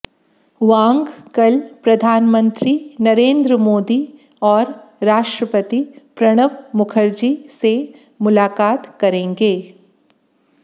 वांग कल प्रधानमंत्री नरेंद्र मोदी और राष्ट्रपति प्रणब मुखर्जी से मुलाकात करेंगे